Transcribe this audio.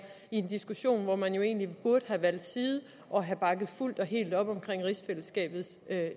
i en diskussion hvor man jo egentlig burde have valgt side og have bakket fuldt og helt op om rigsfællesskabets